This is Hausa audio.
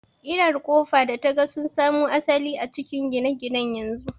ƙirar Ƙofa da taga sun samo asali a cikin gine-gine na yanzu.